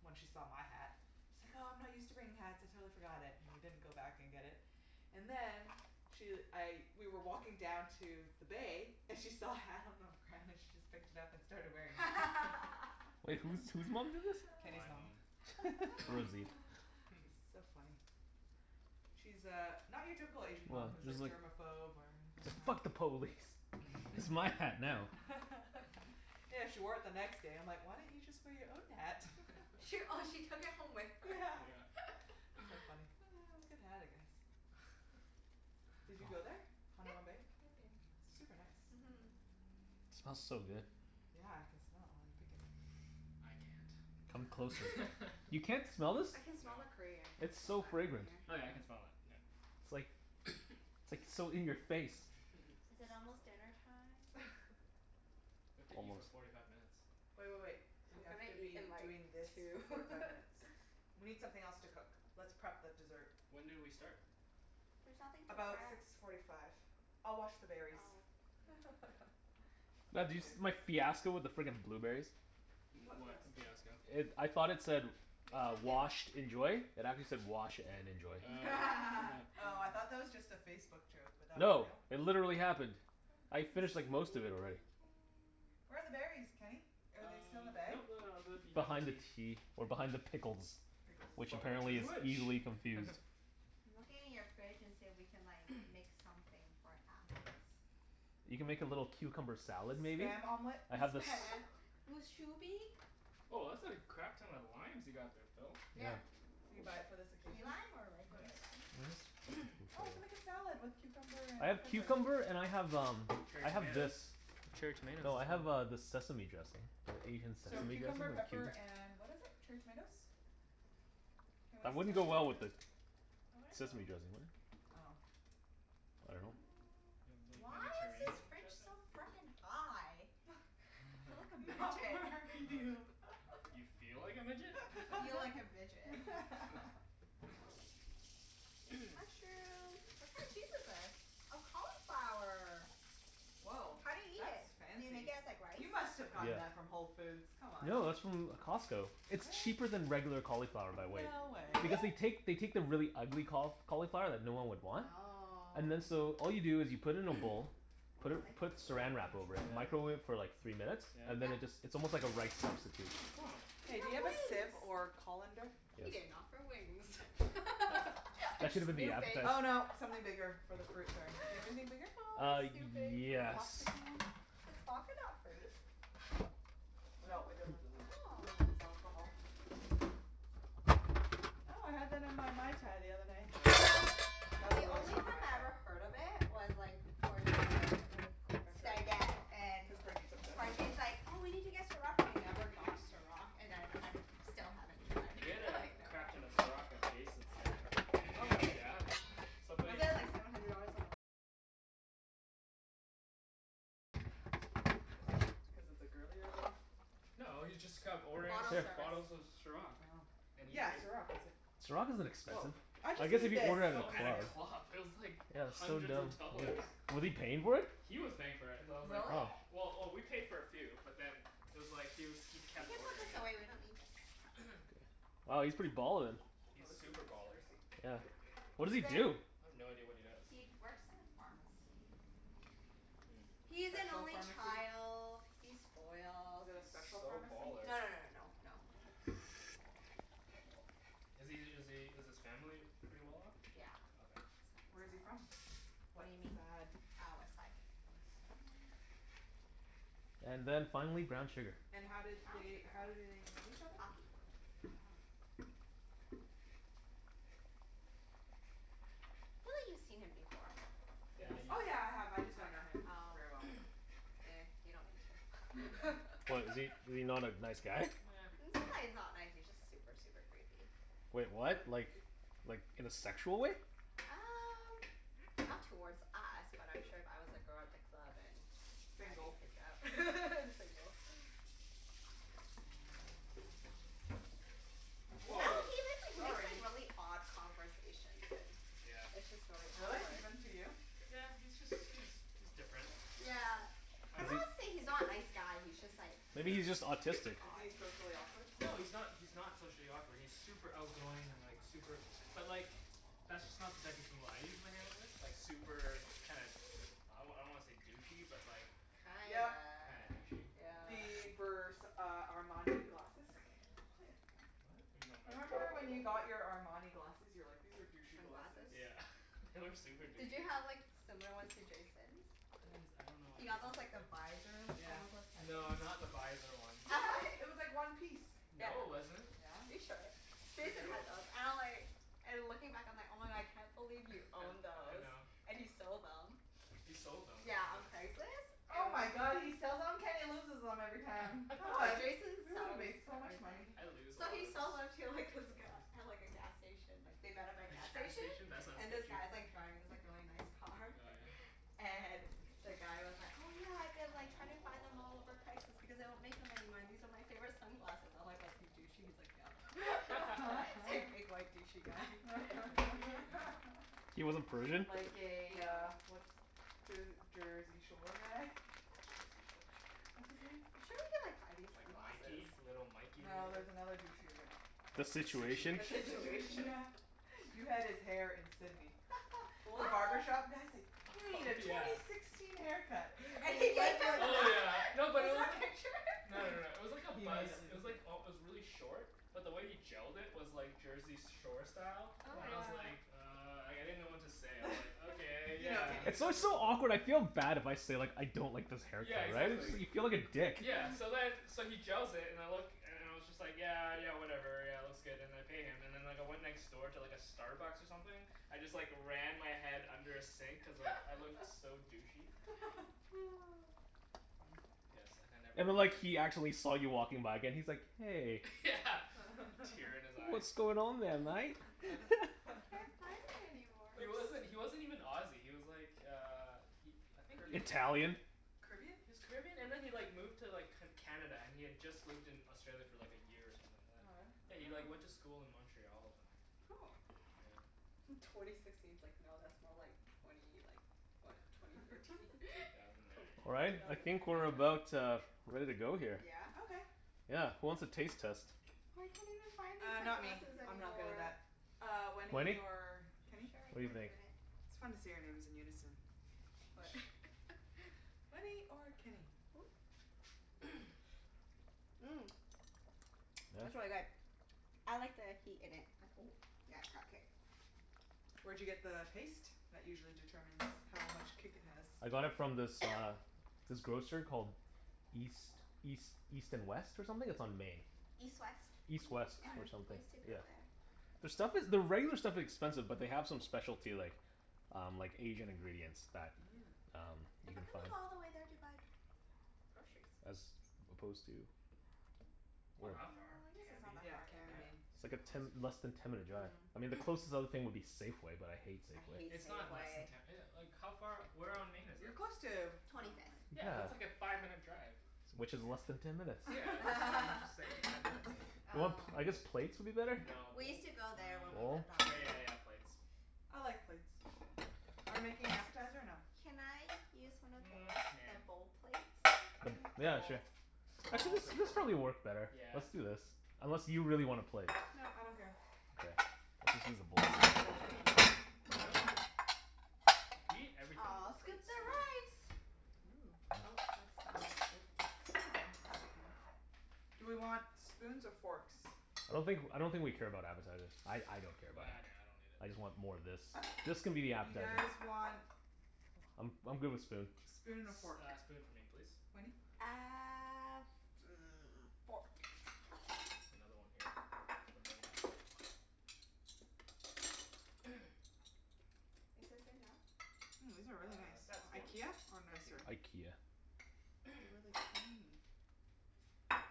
when she saw my hat she's like, "Oh, I'm not used to bringing hats. I totally forgot it." And we didn't go back and get it. And then she, I, we were walking down to the bay and she saw a hat on the ground, and she just picked it up and started wearing it. Wait, whose whose mom did this? Kenny's My mom. mom. Rosie. So funny. She's uh not your typical Asian mom Well, who's she's like like germophobe or anything like "Fuck the police!" "It's my hat now." Yeah, she wore it the next day. I'm like, "Why don't you just wear your own hat?" She, oh she took it home with her? Yeah. Yeah. So funny. Good hat, I guess. Did you go there? Yeah, Hanauma Bay? I've been. Super nice. Mhm. It smells so good. Yeah, I can smell it while you pick it. I can't. Come closer. You can't smell this? I can smell No. the curry. I can't It's smell so that from fragrant. here. Oh yeah, I can Yeah? smell that. Yeah. It's like, it's like so in your face. Is it almost dinnertime? We have to eat for Almost. forty five minutes. Wait wait wait. I'm We have gonna to eat be in like doing this for two. forty five minutes. We need something else to cook. Let's prep the dessert. When did we start? There's nothing to About prep. six forty five. I'll wash the berries. Oh. Mm. Oh, yeah. That's It's all I Bah all do can you there. do. s- my fiasco with the frickin' blueberries? M- What what fiasco? fiasco? It, I thought it said Maybe uh, we can "Washed. Enjoy." It actually said, "Wash and enjoy." Oh. Oh, I thought that was just a Facebook joke, but that was No, real? it literally happened. Where are I the we berries? finished can. like most of it already. Where are the berries, Kenny? Are Uh, they still in the bag? nope, no, no, no, they're behind the Behind the tea. tea. Or behind the pickles. Pickles. Which But which is apparently is which? easily confused. I'm looking in your fridge and see if we can like make something for appies. You can make a little cucumber salad, maybe? Spam omelet? I have this Spam! Mus shubi? Woah, that's a crap ton of limes you got there, Phil. Yeah. Yeah. Did you buy it for this Key occasion? lime, or regular Nice. lime? Why Oh, we can make is a salad with cucumber and I have pepper. cucumber and I have um Cherry I have tomatoes. this. Cherry No, tomatoes I as have well. uh this sesame dressing. The Asian So sesame dressing cucumber, with pepper, cumin. and what is it? Cherry tomatoes? Can we That wouldn't go steal your well with the That wouldn't go. sesame dressing, would it? Oh. I dunno. Do you have Mm, like why is this Mediterranean fridge dressing? so frickin' high? Feel like a Not midget. You feel like a midget? I feel like a midget. There's a mushroom. What kind of cheese is this? Oh, cauliflower. Woah. How do you eat That's it? Do you make fancy. it as like rice? You must've gotten that Yeah. from Whole Foods, come on? No, that's from Costco. It's Really? cheaper than regular cauliflower by weight. No way. Because they Really? take, they take the really ugly caul- cauliflower that no one would want and then Oh. so all you do is you put it in a bowl Oh, put I it like this put drawer Saran Wrap over it, Yeah? microwave it for thingie. like three minutes. And Yeah. then it just, Yeah? it's almost like a rice substitute. Mm, cool. Oh. You Hey, do you have have a wings. sieve or colander? He Yes. didn't offer wings. I'm That should have been the appetizer. snooping. Oh, no, something bigger for the fruit, sorry. Do you have anything bigger? Always Uh, snooping. Like, a yes. plasticky one? Does vodka not freeze? No, No, it doesn't. doesn't. Oh. It's alcohol. Oh, I had that in my Mai Tai the other night. Oh yeah? That was The a really only strong Mai time I Tai. ever heard of it was like for your stagette and Cuz Parjeet's obsessed? Parjeet's like, "Oh, we need to get Ciroc," and we never got Ciroc. And then I'm, still haven't tried. We had a I know crap ton of Ciroc at Jason's stag. Oh really? Yeah, somebody Is it cuz it's a girlier drink? No, he's just kept ordering Bottle C- Here. bottles service. of Ciroc. Oh. And he Yeah, pai- Ciroc, is it Ciroc isn't Woah, expensive. I I guess just if need you this, order at a Oh, at a honestly. club. club, it was like Yeah, that's so hundreds dumb. of dollars. Was he paying for it? He was paying for it, so I was like, Really? Oh. well Well, oh we paid for a few, but then it was like he was, he You kept can put ordering this it. away. We don't need this pot. Wow, he's pretty ballin'. He's Oh, this is super baller. Yeah. What does he He's in do? I have no idea what he does. He'd works in a pharmacy. Mm. A He's an special only pharmacy? child. He's spoiled. Is it a He's special so pharmacy? baller. No no no no no no. No. Is he is he is his family pretty well off? Yeah, Okay. his Where is family's he well off. from? What Whaddya mean? sad? Ah, west side. West side. And then finally, brown sugar. And how did Brown they, sugar? how do Oh. they know each other? Hockey. Oh. I feel like you've seen him before. You Yeah, must you've Oh, yeah, have. I me- have. I Oh just don't know him yeah. Oh. very well. Ehh, you don't need Yeah. to. What, is he, is he not a nice guy? Eh. It's not that he's not nice, he's just super, super creepy. Wait, what? Really? Like Creepy? like in a sexual way? Um not towards us, but I'm sure if I was a girl at the club and I'd be Single. creeped out. And single. I Woah, dunno Well he make, like makes like sorry. really odd conversations and Yeah. it's just really Really? awkward. Even to you? Yeah, he's just, he's he's different. Yeah. I I'm don't not Is he saying he's not a nice guy, he's just like Maybe Yeah. he's just autistic. Is he odd. socially awkward? No, he's not, he's not socially awkward. He's super outgoing and like super But like, that's just not the type of people I usually hang out with. Like super kinda, I wa- I don't wanna say douchey, but like Kinda, Yep. Kinda douchey. yeah. The Vers- uh Armani glasses? What? What are you talking about? Remember, when you got your Armani glasses? You were like, "These are douchey glasses." Sunglasses? Yeah. They were super Did douchey. you have like similar ones to Jason's? I didn't s- I don't know what He Jason's got those look like. like the visor Yeah. No, not the visor ones. Yeah. It was like one piece. Yeah. No it wasn't. Are you Yeah. sure? Pretty Jason sure it had those. wasn't. And I'm like and looking back I'm like, "Oh my god, I can't believe you owned I those." know. And he sold them. He sold them. Yeah, on Craigslist. Oh my And god, he sells on? Kenny loses them every time. Ah, Oh, Jason we would have sells made so much everything. money. I lose a So lot he of s- sells them to like this sunglasses. guy at like a gas station like they met At at a gas a gas station, station? That's not and this sketchy. guy's like driving this like really nice Oh car. yeah? And the guy was like, "Oh yeah, I've been like trying to find them all over Craigslist because they don't make them anymore and these are my favorite sunglasses." I'm like, "Was he douchey?" He's like, "Yep." He's like a big white douchey guy. He wasn't Persian? Like a uh No. what's Jer- Jersey Shore guy? Jersey Shore. What's his name? I'm sure we could like find these Like sunglasses. Mikey. Little Mikey, or No, whatever? there's another douchier guy. The The the Situation? The The Situation? Situation, Situation? yeah. You had his hair in Sidney. The What? barbershop guy's like, "You need Oh a twenty yeah. sixteen haircut." And And he he gave went him like Oh this. yeah. that? No, but it Is there a wasn't picture? No no no, it was like a He buzz, immediately it was like al- it was really short. But the way he gelled it was like Jersey s- Shore style. Oh And my I Yeah. was god. like "Uh," like, I didn't know what to say, I was like, "Okay, You know yeah." Kenny. He It's goes always with so the flow. awkward. I feel bad if I say like "I don't like this haircut," Yeah, right? exactly. You feel like a dick. Yeah. So then, so he gels it and it look and and I was just like "Yeah, yeah whatever, yeah it looks good." And I pay him. And then like I went next door to like a Starbucks or something. I just like ran my head under a sink cuz like I looked so douchey. Funny. Yes, and I never And then like returned. he actually saw you walking by again. He's like, "Hey." Yeah, a tear in his eye. "What's going on there, mate?" Can't find it anymore. He wasn't, he wasn't even Aussie, he was like uh he, I think he Caribbean? Italian? Caribbean? He was Caribbean and then he like moved to like C- Canada, and he had just lived in Australia for like a year or something like that. Oh, Yeah, really? he Oh. like went Mm. to school in Montreal or something. Oh. Yeah. Twenty sixteen's like no, that's more like twenty like what? Yeah. Twenty thirteen? Two thousand nine. Twenty, All right. two I thousand nine? think we're about uh ready to go here. Yeah? Okay. Yeah. Who wants a taste test? I can't even find these Uh, not me. sunglasses I'm not good at anymore. that. Uh, Wenny Wenny? or Kenny? Sure, I Go What do for you can it. do think? it. It's fun to say our names in unison. What? Wenny or Kenny? Ooh. Mmm, that's really Yeah? good. I like the heat in it and ooh, yeah, it's got kick. Where'd you get the paste? That usually determines how much kick it has. I got it from this uh this grocer called East East East and West, or something? It's on Main. East West. East Hmm. West, Oh Yeah. or yeah? We something, used to go yeah. there. Their stuff is, their regular stuff expensive but they have some specialty like um like Asian ingredients that Mm. um you How can come find. you go all the way there to buy groceries? As opposed to? It's not Where? Well, that far. I guess it's not Cambie. that Yeah. far, Cambie, yeah. Yeah, Main. It's like super a close. ten, less than ten minute drive. Mm. I mean the closest other thing would be Safeway, but I hate I Safeway. hate It's not less than Safeway. ten e- like how far, where on Main is You're it? close to, oh no, Twenty fifth. Yeah, that's like wait. Yeah. a five minute drive. Which is less than Yeah. ten minutes. Yeah, just why didn't you say five minutes then? Do you want, Um I guess plates would be better? No, We bowl used to go there when we Bowl? lived uh, on okay yeah Main. yeah yeah plates. I like plates. Are we making an appetizer or no? Can I use one of Mm, those? nah. The bowl plates? The Yeah, bowls? sure. I I'll think this also use this one. probably work better. Yeah. Let's do this. Unless you really want a plate? No, I don't care. Okay, we'll just use the bowls I go with then. the flow. Huh? You eat everything with I'll a plate, scoop the Susan. rice. Ooh. Oh, that's not a scoop. This'll do. That's okay. It's It's thick sticky enough. enough. Do we want spoons or forks? I don't think, I don't think we care about appetizers. I I don't care about Bah, them. nah, I don't need it. I just want more of this. This can be the You appetizer. guys want I'm I'm good with spoon. spoon and a fork. S- uh spoon for me, please. Wenny? Uh, hmm, fork. Another one here for later. Is this enough? Mm, these are really Uh nice. You that's want good. more? IKEA, or Thank you. nicer? IKEA. They're really thin.